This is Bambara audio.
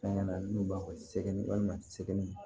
Fɛn ŋana n'u b'a fɔ ko segu walima sɛgi